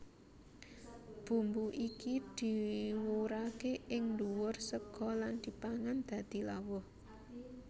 Bumbu iki diwurake ing ndhuwur sega lan dipangan dadi lawuh